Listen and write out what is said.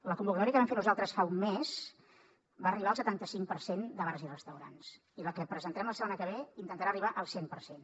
la convocatòria que vam fer nosaltres fa un mes va arribar al setanta cinc per cent de bars i restaurants i la que presentarem la setmana que ve intentarà arribar al cent per cent